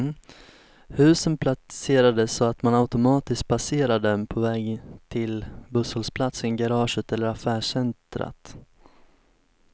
Husen placerades så att man automatiskt passerar dem på väg till busshållplatsen, garaget eller affärscentrat.